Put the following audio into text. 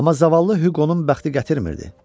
Amma zavallı Huqonun bəxti gətirmirdi.